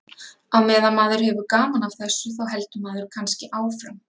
Á meðan maður hefur gaman af þessu þá heldur maður kannski áfram.